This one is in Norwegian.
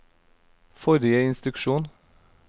forrige instruksjon